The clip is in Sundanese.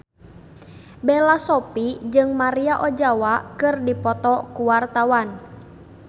Bella Shofie jeung Maria Ozawa keur dipoto ku wartawan